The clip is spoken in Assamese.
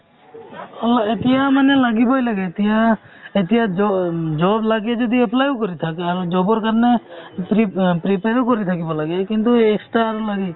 অ এতিয়া মানে লাগিবই লাগে এতিয়া এতিয়া জ job লাগে যদি apply ও কৰি থাক আৰু job ৰ কাৰণে prep prepare ও কৰি থাকিব লাগে ।কিন্তু extra আৰু লাগে